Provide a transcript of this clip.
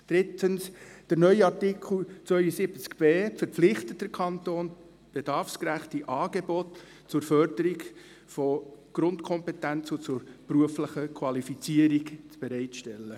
Drittens: Der neue Artikel 72b verpflichtet den Kanton, bedarfsgerechte Angebote zur Förderung von Grundkompetenzen zur beruflichen Qualifizierung bereitzustellen.